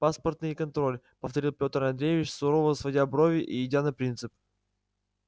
паспортный контроль повторил пётр андреевич сурово сводя брови и идя на принцип